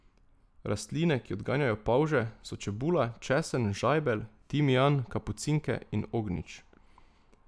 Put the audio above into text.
Rastline, ki odganjajo polže, so čebula, česen, žajbelj, timijan, kapucinke in ognjič.